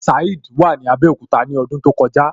Saheed wà ní Abẹ́òkúta ní ọdún tó kọjá.